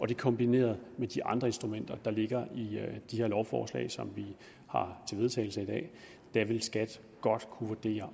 det kombineret med de andre instrumenter der ligger i de her lovforslag som vi har til vedtagelse i dag vil skat godt kunne vurdere